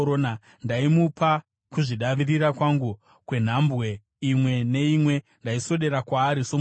Ndaimupa kuzvidavirira kwangu kwenhambwe imwe neimwe; ndaiswedera kwaari somuchinda.